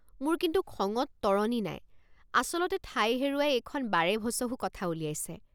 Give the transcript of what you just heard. মোৰ কিন্তু খঙত তৰণি নাই আচলতে ঠাই হেৰুৱাই এইখন বাৰেভচহু কথা উলিয়াইছে।